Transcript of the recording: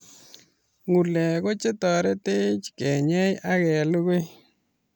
Ngulek ko chetaretech kenyei ak kelgui